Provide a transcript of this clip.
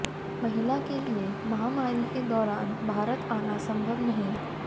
महिला के लिए महामारी के दौरान भारत आना संभव नहीं